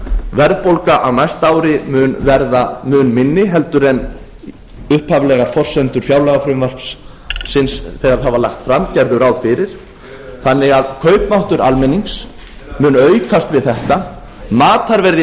verðbólga á næsta ári mun verða mun minni en upphaflegar forsendur fjárlagafrumvarpsins þegar það var lagt fram gerðu ráð fyrir þannig að kaupmáttur almennings mun aukast við þetta matarverð í